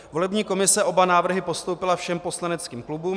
Volební komise oba návrhy postoupila všem poslaneckým klubům.